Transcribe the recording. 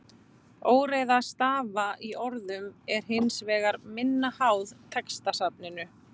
Óreiða stafa í orðum er hins vegar minna háð textasafninu.